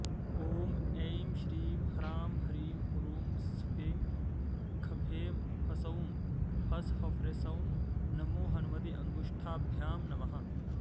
ॐ ऐं श्रीं ह्रांह्रींह्रूं स्फें ख्फें ह्सौं ह्स्ख्फ्रेंह्सौं नमो हनुमते अङ्गुष्ठाभ्यां नमः